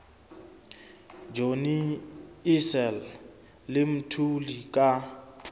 johnny issel le mthuli ka